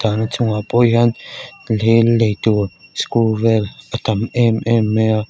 dahna chungah pawh hian lel leitur skru vel a tam em em mai a.